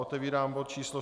Otevírám bod číslo